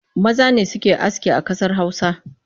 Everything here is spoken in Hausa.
Maza ne suke aski a ƙasar Hausa